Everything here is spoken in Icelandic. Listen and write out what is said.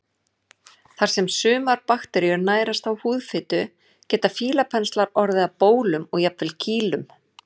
Þar sem sumar bakteríur nærast á húðfitu geta fílapenslar orðið að bólum og jafnvel kýlum.